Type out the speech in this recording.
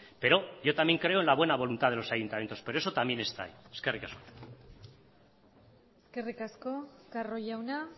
pero yo también creo en la buena voluntad de los ayuntamientos pero eso también está ahí eskerrik asko eskerrik asko carro jauna